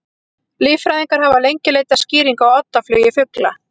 Líffræðingar hafa lengi leitað skýringa á oddaflugi fugla.